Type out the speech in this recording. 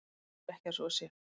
Ég tel ekki að svo sé.